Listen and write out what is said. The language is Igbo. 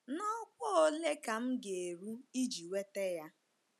N’ọkwá ole ka m ga - eru iji nweta ya?